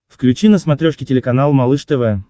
включи на смотрешке телеканал малыш тв